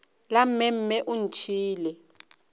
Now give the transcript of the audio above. la mme mme o ntšhiile